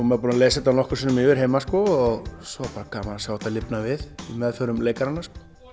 maður búinn að lesa þetta nokkrum sinnum yfir heima og svo er bara gaman að sjá þetta lifna við í meðförum leikaranna